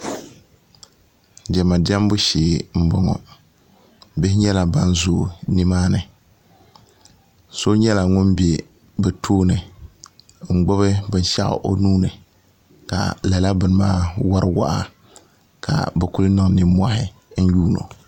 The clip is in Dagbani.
diɛma diɛmbu shee n boŋo bihi nyɛla ban zooi nimaani so nyɛla ŋun bɛ bi tooni n gbubi binshaɣu o nuuni ka lala bini maa wori waa ka bi niŋ nimmohi n yuundi o